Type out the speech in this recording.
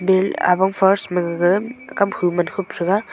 awang first ma gaga kaphu man khup thega.